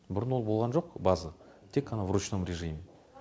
бұрын ол болған жоқ база тек қана в ручном режиме